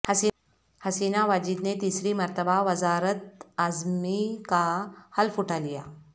حسینہ واجد نے تیسری مرتبہ وزارت عظمی کا حلف اٹھالیا